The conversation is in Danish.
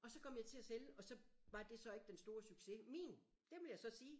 Og så kom jeg til at sælge og så var det så ikke den store succes min det vil jeg så sige